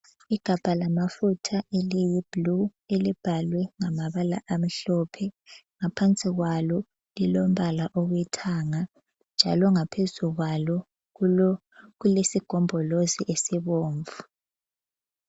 Igabha lamafutha eliyi blue, elibhalwe ngamabala amhlophe. Ngaphansi kwalo lilombala owethanga. Njalo ngaphezu kwalo kulesigombolozi esibomvu.